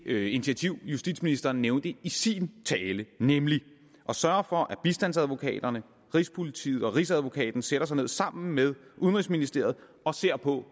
det initiativ justitsministeren nævnte i sin tale nemlig at sørge for at bistandsadvokaterne rigspolitiet og rigsadvokaten sætter sig ned sammen med udenrigsministeriet og ser på